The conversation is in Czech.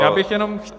Já bych jenom -